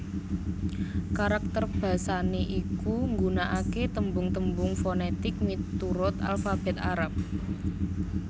Karakter basané iku nggunakaké tembung tembung fonètik miturut alfabèt Arab